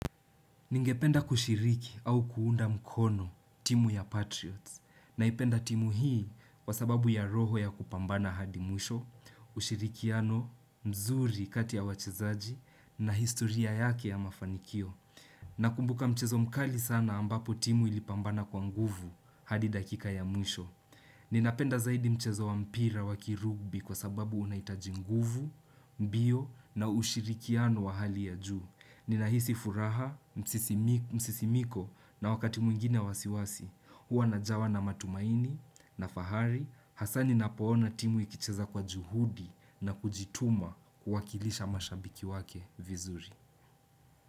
Ningependa kushiriki au kuunda mkono timu ya Patriots na ipenda timu hii kwa sababu ya roho ya kupambana hadi mwisho, ushirikiano, mzuri kati ya wachezaji na historia yake ya mafanikio. Na kumbuka mchezo mkali sana ambapo timu ilipambana kwa nguvu hadi dakika ya mwisho. Ninapenda zaidi mchezo wa mpira wakirugbi kwa sababu unahitaji nguvu, mbio na ushirikiano wa hali ya juu. Ninahisi furaha, msisimiko, na wakati mwingine wasiwasi, huwa najawa na matumaini, na fahari, hasa ni na pona timu ikicheza kwa juhudi na kujituma kuwakilisha mashabiki wake vizuri.